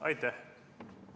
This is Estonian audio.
Aitäh!